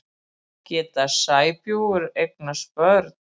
Geta sæbjúgu eignast börn?